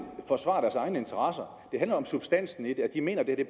forsvare deres egne interesser det handler om substansen i det at de mener at det